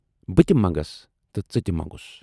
بہٕ تہِ منگس تہٕ ژٕ تہِ مَنگُس۔